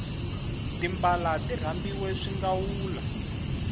timbala ti rambiwe swingawula